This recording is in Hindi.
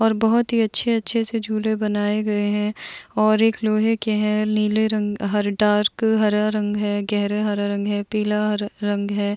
और बहोत ही अच्छे-अच्छे से झूले बनाए गए हैं और एक लोहे के हैंनीले रंग हैडार्क हरा रंग हैगहरा हरा रंग हैपीला हरा र रंग है।